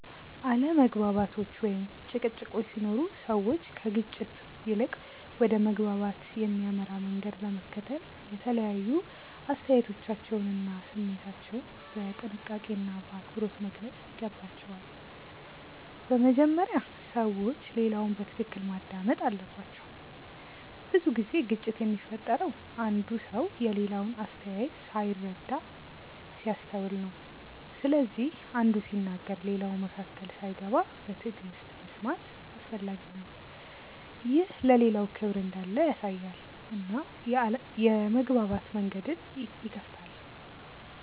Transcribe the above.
አለመግባባቶች ወይም ጭቅጭቆች ሲኖሩ ሰዎች ከግጭት ይልቅ ወደ መግባባት የሚያመራ መንገድ ለመከተል የተለያዩ አስተያየቶቻቸውን እና ስሜታቸውን በጥንቃቄና በአክብሮት መግለጽ ይገባቸዋል። በመጀመሪያ ሰዎች ሌላውን በትክክል ማዳመጥ አለባቸው። ብዙ ጊዜ ግጭት የሚፈጠረው አንዱ ሰው የሌላውን አስተያየት ሳይረዳ ሲያስተውል ነው። ስለዚህ አንዱ ሲናገር ሌላው መካከል ሳይገባ በትዕግሥት መስማት አስፈላጊ ነው። ይህ ለሌላው ክብር እንዳለ ያሳያል እና የመግባባት መንገድን ይከፍታል.